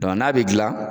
n'a bɛ dilan